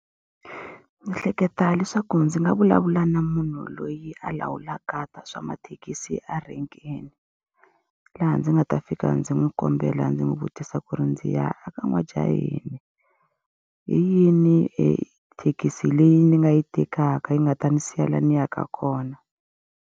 Ndzi hleketa leswaku ndzi nga vulavula na munhu loyi a lawulaka ta swa mathekisi a renkeni. Laha ndzi nga ta fika ndzi n'wi kombela ndzi n'wi vutisa ku ri ndzi ya eka N'wajaheni, hi yini ethekisi leyi ni nga yi tekaka yi nga ta ndzi siya laha ni yaka kona.